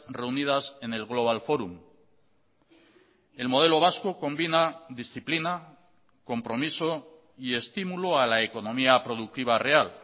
reunidas en el global forum el modelo vasco combina disciplina compromiso y estímulo a la economía productiva real